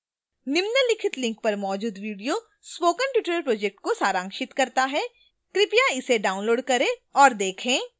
निम्नलिखित link पर मौजूद video spoken tutorial project को सारांशित करता है कृपया इसे डाउनलोड करें और देखें